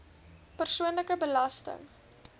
persoonlike belasting